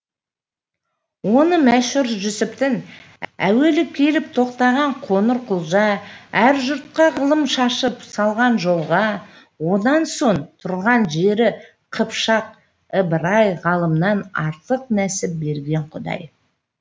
оны мәшһүр жүсіптің әуелі келіп тоқтаған қоңырқұлжа әр жұртқа ғылым шашып салған жолға онан соң тұрған жері қыпшақ ыбырай ғылымнан артық нәсіп берген құдай